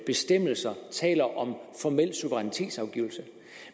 bestemmelser taler om formel suverænitetsafgivelse